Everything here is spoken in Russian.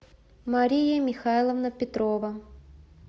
мария михайловна петрова